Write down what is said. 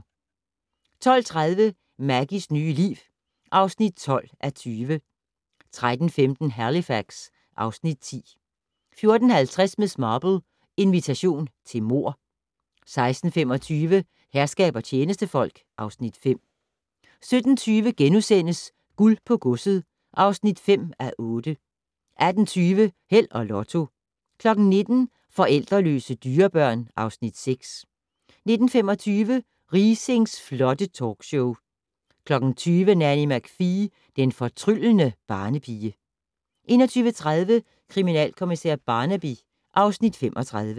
12:30: Maggies nye liv (12:20) 13:15: Halifax (Afs. 10) 14:50: Miss Marple: Invitation til mord 16:25: Herskab og tjenestefolk (Afs. 5) 17:20: Guld på godset (5:8)* 18:20: Held og Lotto 19:00: Forældreløse dyrebørn (Afs. 6) 19:25: Riisings flotte talkshow 20:00: Nanny McPhee - den fortryllende barnepige 21:30: Kriminalkommissær Barnaby (Afs. 35)